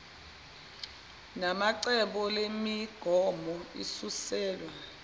namacbo lemigomo isuselwe